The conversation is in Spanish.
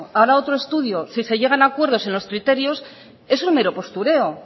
hará otro estudio si se llegan a acuerdos en los criterios eso es mero postureo